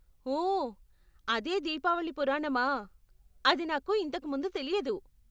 ఓ, అదే దీపావళి పురాణమా. అది నాకు ఇంతకు ముందు తెలియదు.